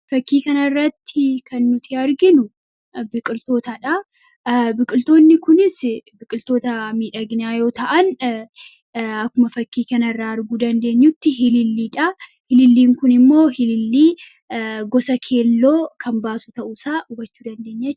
Fakkii kana irratti kan nuti arginu biqiltoonni kunis biqiltoota midhaginaa yoo ta'an akkuma fakkii kan irraa arguu dandeenyutti ililliin kun immoo iliillii gosa keelloo kan baasu ta'u isaa hubachuu dandeenya.